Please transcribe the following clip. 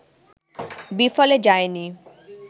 বিফলে যায়নি